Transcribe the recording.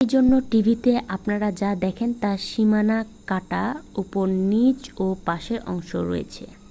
সেজন্য টিভিতে আপনারা যা দেখেন তার সীমানা কাটা উপর নিচে ও পাশের অংশ রয়েছে